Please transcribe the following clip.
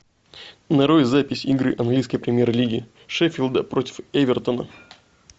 нарой запись игры английской премьер лиги шеффилда против эвертона